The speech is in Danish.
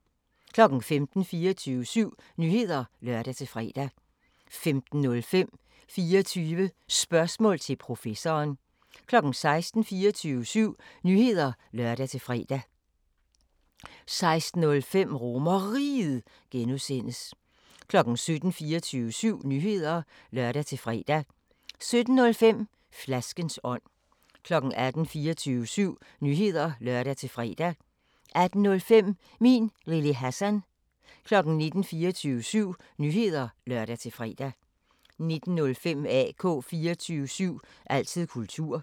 15:00: 24syv Nyheder (lør-fre) 15:05: 24 Spørgsmål til Professoren 16:00: 24syv Nyheder (lør-fre) 16:05: RomerRiget (G) 17:00: 24syv Nyheder (lør-fre) 17:05: Flaskens ånd 18:00: 24syv Nyheder (lør-fre) 18:05: Min Lille Hassan 19:00: 24syv Nyheder (lør-fre) 19:05: AK 24syv – altid kultur